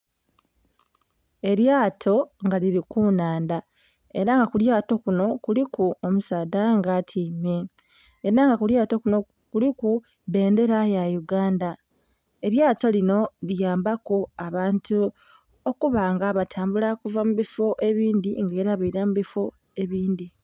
Elyato nga lili ku nhandha era nga kulyato kunho kuliku omusaadha nga atyaime era nga kulyato kunho kuliku bbendhera ya Uganda. Elyato linho liyambaku abantu okuba nga batambula okuva mu bifoo ebindhi nga era beila mu bifoo ebindhi.